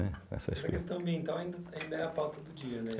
Essa questão ambiental ainda ainda é a pauta do dia, né?